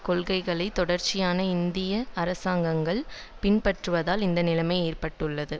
கொள்கைகளை தொடர்ச்சியான இந்திய அரசாங்கங்கள் பின்பற்றுவதால் இந்த நிலைமை ஏற்பட்டுள்ளது